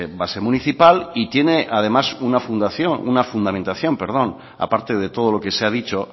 base municipal y tiene además una fundamentación aparte de todo lo que se ha dicho